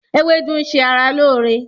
Ewédú ń ṣe ara lóore